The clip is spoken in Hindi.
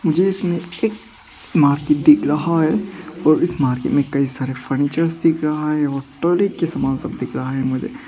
जिसमें एक मार्केट दिख रहा है और इस मार्केट में कई सारे फर्नीचर्स दिख रहा है और टॉयलेट के समान सब दिख रहा है मुझे।